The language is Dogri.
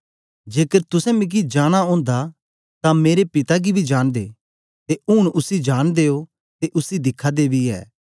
जेकर तुसें मिगी जां नां ओंदा तां मेरे पिता गी बी जांनदे ते ऊन उसी जांनदे ओ ते उसी दिखा दा बी ऐ